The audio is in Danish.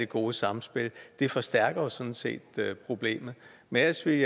gode samspil det forstærker jo sådan set problemet men ellers vil